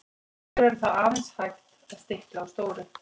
hér verður því aðeins hægt að stikla á stóru